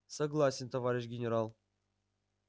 согласен товарищ генерал